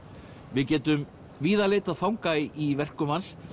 við getum víða leitað fanga í verkum hans